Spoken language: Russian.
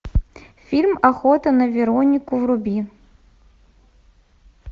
фильм охота на веронику вруби